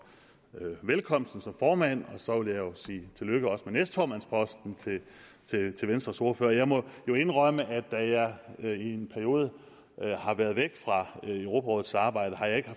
velkomsten som formand og så vil også sige tillykke med næstformandsposten til venstres ordfører jeg må indrømme at da jeg i en periode har været væk fra europarådets arbejde har jeg